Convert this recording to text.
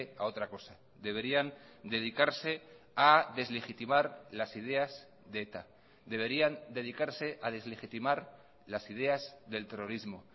a otra cosa deberían dedicarse a deslegitimar las ideas de eta deberían dedicarse a deslegitimar las ideas del terrorismo